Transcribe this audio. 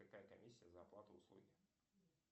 какая комиссия за оплату услуги